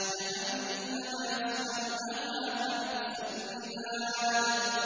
جَهَنَّمَ يَصْلَوْنَهَا فَبِئْسَ الْمِهَادُ